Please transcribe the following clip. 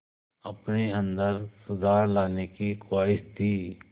अपने अंदर सुधार लाने की ख़्वाहिश थी